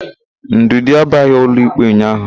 Ndụdị abiaghị ụlọikpe ụnyaahụ.